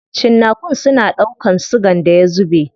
Cinnakun suna ɗaukan sigan da ya zube.